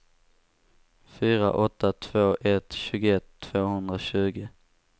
fyra åtta två ett tjugoett tvåhundratjugo